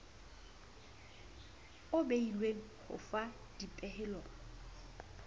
o beilweng ho fa dipehelo